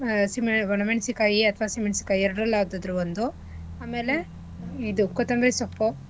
ಆ ಅಸಿಮೆಣ~ ಒಣಮೆಣ್ಸಿಕಾಯಿ ಅಥವಾ ಅಸಿ ಮೆಣಸಿಕಾಯಿ ಎರ್ಡ್ರಲ್ ಯಾವ್ಡಾದ್ರು ಒಂದು ಆಮೇಲೆ ಇದು ಕೊತ್ತಂಬ್ರಿ ಸೊಪ್ಪು.